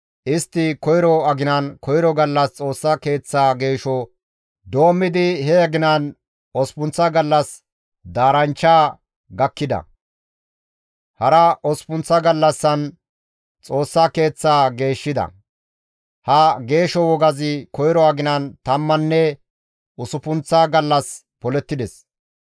Istti koyro aginan, koyro gallas Xoossa Keeththaa geesho doommidi he aginan osppunththa gallas daaranchcha gakkida; hara osppun gallassan Xoossa Keeththaa geeshshida; ha geesho wogazi koyro aginan tammanne usuppunththa gallas polettides.